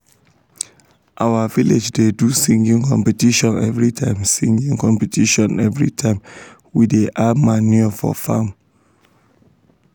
our village da do singing competition everytime singing competition everytime we um da add manure for farm